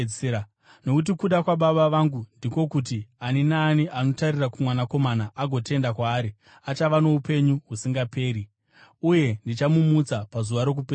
Nokuti kuda kwaBaba vangu ndiko kuti ani naani anotarira kuMwanakomana agotenda kwaari achava noupenyu husingaperi, uye ndichamumutsa pazuva rokupedzisira.”